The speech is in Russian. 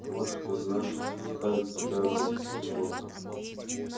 вот что значит оставить тебя без присмотра